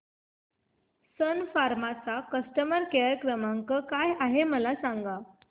सन फार्मा चा customer care क्रमांक काय आहे मला सांगा